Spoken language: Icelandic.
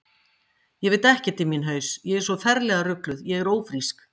Ég veit ekkert í minn haus, ég er svo ferlega rugluð, ég er ófrísk.